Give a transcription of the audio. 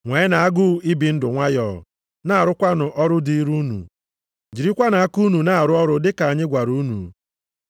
Nweenụ agụụ ibi ndụ nwayọọ, na-arụkwanụ ọrụ dịịrị unu. Jirikwanụ aka unu na-arụ ọrụ dịka anyị gwara unu,